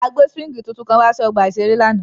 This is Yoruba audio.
A gbe suwingi titun kan wa si ọgba iṣere lánàá.